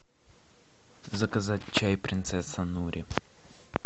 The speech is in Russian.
заказать чай принцесса нури